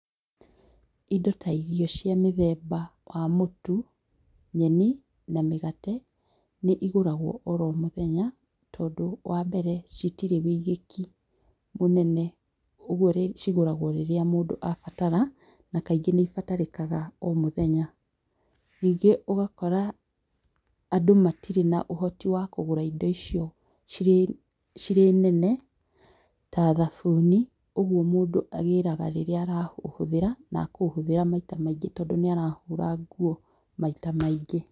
Indo ta irio cia mũthemba wa mũtu, nyeni na mĩgate, nĩigũragwo oromũthenya tondũ wambere, citirĩ wĩigĩki mũnene. ũguo cigũragwo rĩrĩa mũndũ abatara na kaingĩ nĩibataranagĩka o mũthenya. Nyingĩ ũgakora andũ matirĩ na ũhoti wakũgũra indo icio cirĩ, cirĩ nene ta thabuni, ũguo mũndũ agĩraga rĩrĩa arahũthĩra, nakũũhũthĩra maita maingĩ tondũ nĩarahũra nguo maita maingĩ.